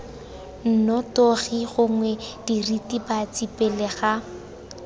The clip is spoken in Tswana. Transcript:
nnotagi gongwe diritibatsi pele ga